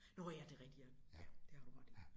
Nårh ja det rigtigt ja ja det har du ret i